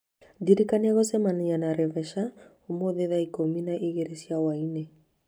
Ndĩrikania gũcemania na Reveca ũmũthĩ thaa ikũmi na igĩrĩ cia hwaĩ-inĩ